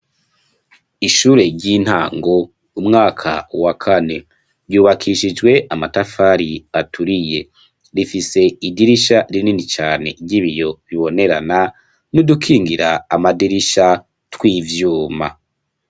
Ishure ry'intango umwaka wa kane, ryubakishijwe amatafari aturiye, rifise idirisha rinini cane ry'ibiyo bibonerana n'udukingira amadirisha tw'ivyuma.